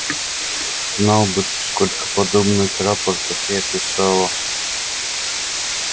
знал бы ты сколько подобных рапортов я писала